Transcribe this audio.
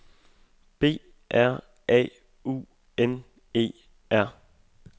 B R A U N E R